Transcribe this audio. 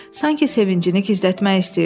Sanki sevincini gizlətmək istəyirdi.